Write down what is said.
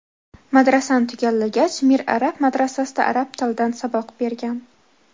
Madrasani tugallagach, Mir Arab madrasasida arab tilidan saboq bergan.